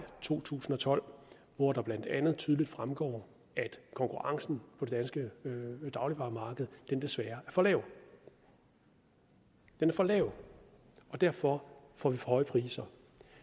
to tusind og tolv hvoraf det blandt andet tydeligt fremgår at konkurrencen på det danske dagligvaremarked desværre er for lav den er for lav og derfor får vi for høje priser